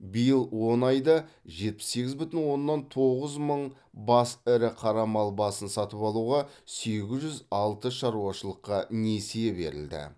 биыл он айда жетпіс сегіз бүтін оннан тоғыз мың бас ірі қара мал басын сатып алуға сегіз жүз алты шаруашылыққа несие берілді